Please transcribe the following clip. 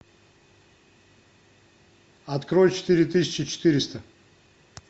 открой четыре тысячи четыреста